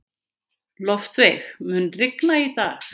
Loftveig, mun rigna í dag?